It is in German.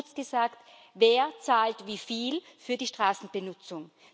Kurz gesagt Wer zahlt wieviel für die Straßenbenutzung?